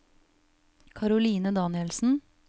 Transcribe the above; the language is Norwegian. Karoline Danielsen